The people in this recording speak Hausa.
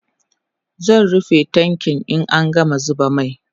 zan rufe tankin in an gama zuba mai